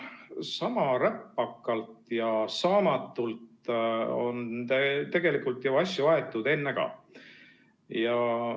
Sama räpakalt ja saamatult on tegelikult ju asju aetud ennegi.